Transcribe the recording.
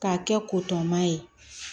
K'a kɛ ko tɔma ye